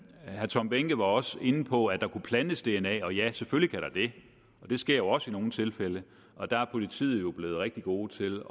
herre tom behnke var også inde på at der kunne plantes dna og ja selvfølgelig kan det og det sker jo også i nogle tilfælde og der er politiet blevet rigtig gode til